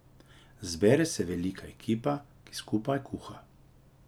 Zbere se velika ekipa, ki skupaj kuha.